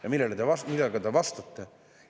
Ja millega te vastate?